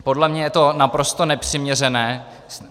Podle mě je to naprosto nepřiměřené.